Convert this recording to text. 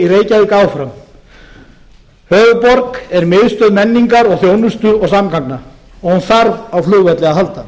reykjavík áfram höfuðborg er miðstöð menningar og þjónustu og samgangna og hún þarf á flugvelli að halda